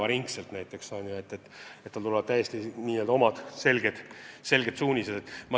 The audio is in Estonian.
Ametile antakse täiesti selged suunised.